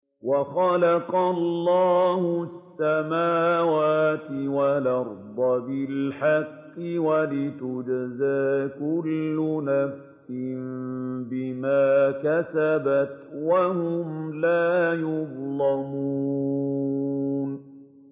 وَخَلَقَ اللَّهُ السَّمَاوَاتِ وَالْأَرْضَ بِالْحَقِّ وَلِتُجْزَىٰ كُلُّ نَفْسٍ بِمَا كَسَبَتْ وَهُمْ لَا يُظْلَمُونَ